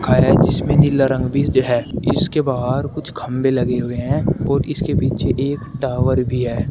है जिसमें नीला रंग भी है इसके बाहर कुछ खंबे लगे हुए हैं और इसके पीछे एक टावर भी है।